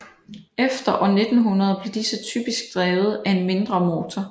Efter år 1900 blev disse typisk drevet af en mindre motor